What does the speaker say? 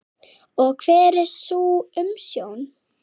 Og hver er sú umsögn?